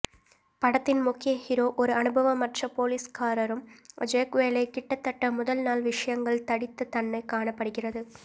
படத்தின் முக்கிய ஹீரோ ஒரு அனுபவமற்ற போலீஸ்காரரும் ஜேக் வேலை கிட்டத்தட்ட முதல் நாள் விஷயங்கள் தடித்த தன்னை காணப்படுகிறது